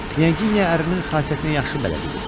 Knyaginya ərinin xasiyyətinə yaxşı bələd idi.